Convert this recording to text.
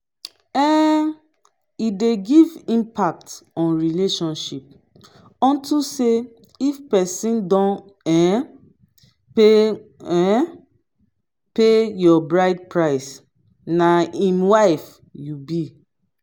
um e dey give impact on relationship unto say if pesin don um pay um pay your bride price na im wife you be.